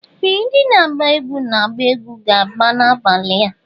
Ee! Ndị na-agba egwu na-agba egwu ga-agbà ya n'abalị a.